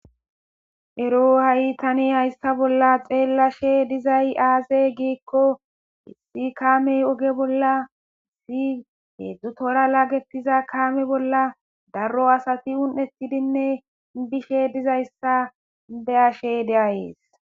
Ero haysa bolla tani xeellashe dizay aaze giiko issi kaamey oge bolla heedzdzu toora laagetiza kaame bolla daro asati une7ettidi bizaysa beyashe de7aysi.